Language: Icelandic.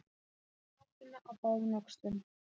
Að bera kápuna á báðum öxlum